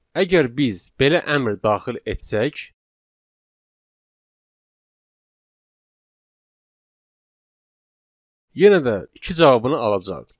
Əgər biz belə əmr daxil etsək, yenə də iki cavabını alacağıq.